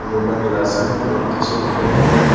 Yoga classing में बहोत अच्छे दिखाई दे रहे हैं।